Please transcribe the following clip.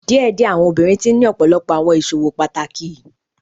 Diẹdiẹ awọn obinrin tii ni ọpọlọpọ awọn iṣowo pataki